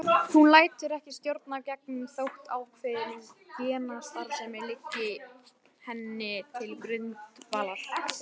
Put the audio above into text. Hún lætur ekki stjórnast af genum þótt ákveðin genastarfsemi liggi henni til grundvallar.